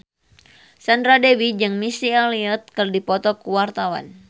Sandra Dewi jeung Missy Elliott keur dipoto ku wartawan